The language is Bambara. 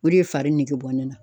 O de ye fari nege bɔ ne na.